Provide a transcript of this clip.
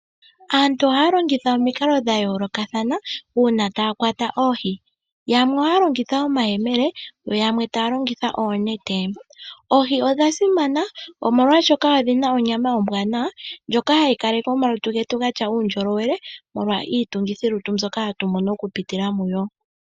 Aantu ohaya longitha omikalo dha yoolokathana uuna taya kwata oohi. Yamwe ohaya longitha omayemele yo yamwe taya longitha oonete. Oohi odha simana omolwashoka odhina onyama ombwanawa ndjoka hayi kaleke omalutu getu gatya uundjolowele, molwa iitungithilutu mbyoka hatu mono oku pitila mudho.